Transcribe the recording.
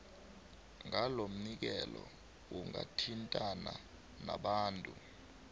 ngalomnikelo ungathintana nabantu